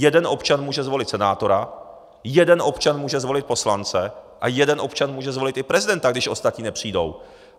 Jeden občan může zvolit senátora, jeden občan může zvolit poslance a jeden občan může zvolit i prezidenta, když ostatní nepřijdou.